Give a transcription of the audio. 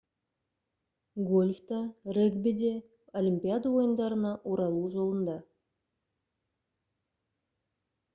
гольф та регби де олимпиада ойындарына оралу жолында